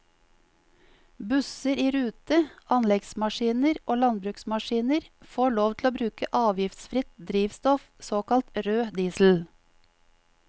Busser i rute, anleggsmaskiner og landbruksmaskiner får lov til å bruke avgiftsfritt drivstoff, såkalt rød diesel.